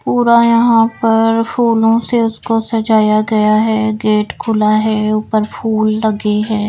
पूरा यहां पर फूलों से उसको सजाया गया है गेट खुला है ऊपर फूल लगे हैं।